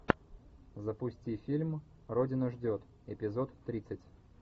запусти фильм родина ждет эпизод тридцать